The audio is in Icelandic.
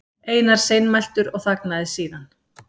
Einar seinmæltur og þagnaði síðan.